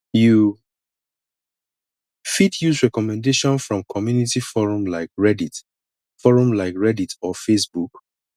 you fit use recommendation from community forum like reddit forum like reddit or facebook